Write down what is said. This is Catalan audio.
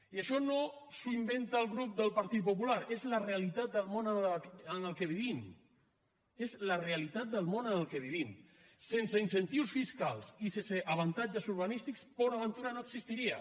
i això no s’ho inventa el grup del partit popular és la realitat del món en què vivim és la realitat del món en què vivim sense incentius fiscals i sense avantatges urbanístiques port aventura no existiria